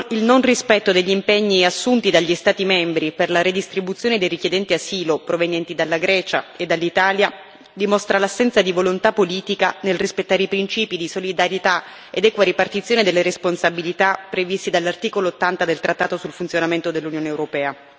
Il non rispetto degli impegni assunti dagli Stati membri per la redistribuzione dei richiedenti asilo provenienti dalla Grecia e dall'Italia dimostra l'assenza di volontà politica nel rispettare i principi di solidarietà ed equa ripartizione delle responsabilità previsti dall'articolo 80 del trattato sul funzionamento dell'Unione europea.